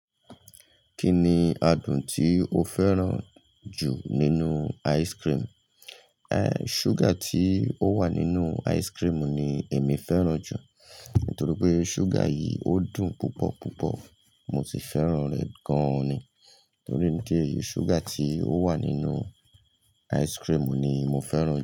Kí ni adùn tí o fẹ́ràn jù nínú ice cream? Sugar tí ó wà nínú ice cream ni èmi fẹ́ràn jù. Nítorí pé sugar yìí ó dùn púpọ̀ púpọ̀. Mo si fẹ́ràn rẹ̀ gan ni. Torí ìdí eyi sugar tí ó wà nínú ice cream ni mo fẹ́ràn jù.